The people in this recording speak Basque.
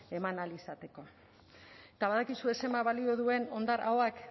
eman ahal izateko eta badakizue zenbat balio duen hondar ahoak